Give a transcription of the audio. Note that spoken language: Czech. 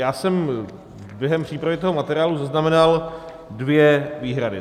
Já jsem během přípravy toho materiálu zaznamenal dvě výhrady.